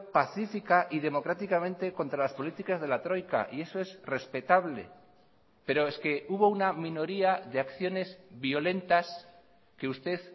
pacífica y democráticamente contra las políticas de la troika y eso es respetable pero es que hubo una minoría de acciones violentas que usted